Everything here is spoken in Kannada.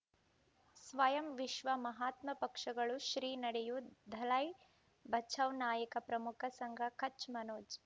ಸ್ವಯಂ ವಿಶ್ವ ಮಹಾತ್ಮ ಪಕ್ಷಗಳು ಶ್ರೀ ನಡೆಯೂ ದಲೈ ಬಚೌ ನಾಯಕ ಪ್ರಮುಖ ಸಂಘ ಕಚ್ ಮನೋಜ್